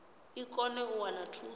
i kone u wana thuso